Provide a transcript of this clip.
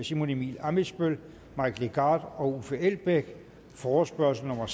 simon emil ammitzbøll mike legarth og uffe elbæk forespørgslen nummer